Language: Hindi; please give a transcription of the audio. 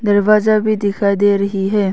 दरवाजा भी दिखाई दे रही है।